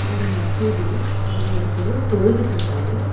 ஒரு மசூதி அங்க ஒருத்தரு தொழுதுட்ருக்காரு.